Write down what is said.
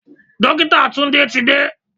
Dókítà Tunde ti dé.